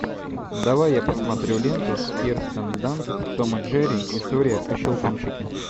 давай я посмотрю ленту с кирстен данст том и джерри история о щелкунчике